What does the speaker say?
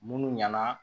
Munnu ɲɛna